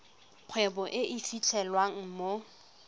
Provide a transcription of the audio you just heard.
kgwebo e e fitlhelwang mo